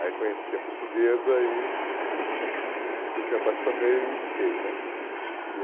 Aí conheci a portuguesa e... Você conheceu ela onde? E me apaixonei e fiquei né. E